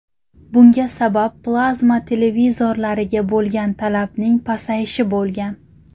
Bunga sabab plazma televizorlariga bo‘lgan talabning pasayishi bo‘lgan.